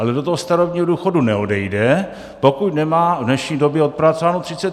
Ale do toho starobního důchodu neodejde, pokud nemá v dnešní době odpracováno 35 let.